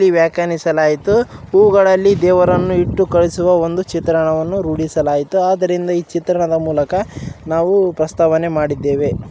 ವ್ಯಾಕಣಿಸಲಾಯಿತು ಹೂವುಗಳನ್ನು ದೇವರನ್ನು ಇಟ್ಟು ಕಲಿಸುವ ಒಂದು ಚಿತ್ರನವನ್ನು ರೂಢಿಸಲುಆಯ್ತು. ಆದ್ರಿಂದ ಈ ಚಿತ್ರಣದ ಮೂಲಕ ನಾವು ಪ್ರಸ್ತಾವನೆ ಮಾಡಿದ್ದ್ದೇವೆ.